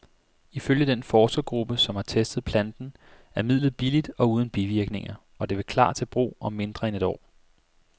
Ifølge den forskergruppe, som har testet planten, er midlet billigt og uden bivirkninger, og det vil klar til brug om mindre end et år.